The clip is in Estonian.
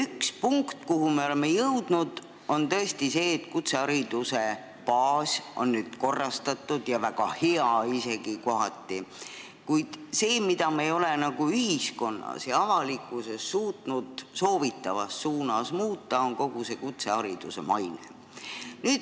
Üks punkt, kuhu me oleme jõudnud, on see, et kutsehariduse baas on nüüd korrastatud ja kohati isegi väga hea, kuid see, mida me ei ole nagu ühiskonnas ja avalikkuses suutnud soovitavas suunas muuta, on kutsehariduse maine.